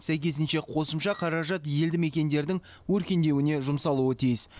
сәйкесінше қосымша қаражат елді мекендердің өркендеуіне жұмсалуы тиіс